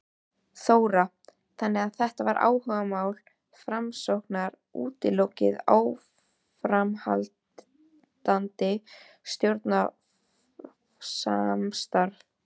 Þóra: Þannig að þetta áhugamál Framsóknar útiloki áframhaldandi stjórnarsamstarf?